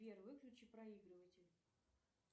сбер выключи проигрыватель